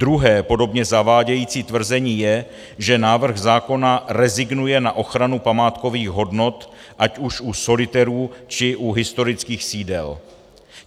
Druhé podobně zavádějící tvrzení je, že návrh zákona rezignuje na ochranu památkových hodnot, ať už u solitérů, či u historických sídel.